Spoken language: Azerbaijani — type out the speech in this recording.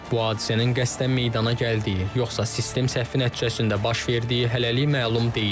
Bu hadisənin qəsdən meydana gəldiyi, yoxsa sistem səhvi nəticəsində baş verdiyi hələlik məlum deyil.